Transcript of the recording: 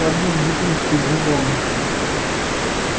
поднёс бутылочку к губам